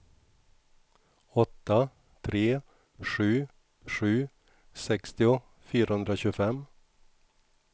åtta tre sju sju sextio fyrahundratjugofem